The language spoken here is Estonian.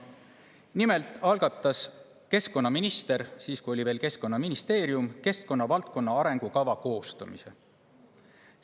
Nimelt algatas keskkonnaminister siis, kui meil oli veel Keskkonnaministeerium, keskkonnavaldkonna arengukava koostamise.